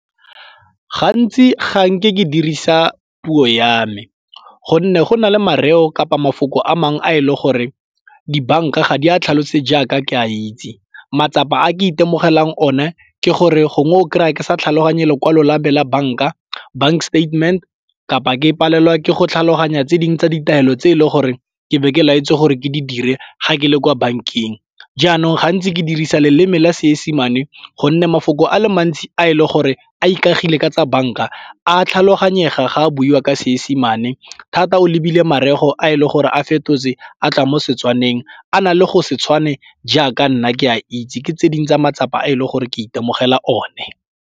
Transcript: Gantsi ga nke ke dirisa puo ya me gonne go na le mareo kapa mafoko a mangwe a e le gore dibanka ga di a tlhalosetse jaaka ke a itse. Matsapa a ke itemogelang one ke gore gongwe o kry-a ke sa tlhaloganye dilo kwa la me la banka, bank statement kapa ke palelwa ke go tlhaloganya tse dingwe tsa ditaelo tse e leng gore ke be ke la etse gore ke di dire ga ke le kwa bankeng. Jaanong gantsi ke dirisa leleme la Seesemane gonne mafoko a le mantsi a e le gore a ikagile ka tsa banka a tlhaloganyega ga a buiwa ka seesemane thata o lebile mareo a e leng gore a fetotse a tla mo Setswaneng a na le go se tshwane jaaka nna ke a itse, ke tse dingwe tsa matsapa a e le gore ke itemogela one.